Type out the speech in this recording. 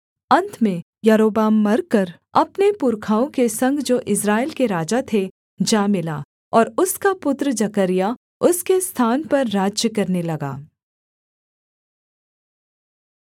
अन्त में यारोबाम मरकर अपने पुरखाओं के संग जो इस्राएल के राजा थे जा मिला और उसका पुत्र जकर्याह उसके स्थान पर राज्य करने लगा